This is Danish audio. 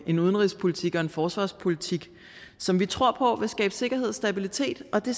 en udenrigspolitik og forsvarspolitik som vi tror på vil skabe sikkerhed og stabilitet og det